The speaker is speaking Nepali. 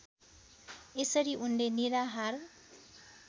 यसरी उनले निराहार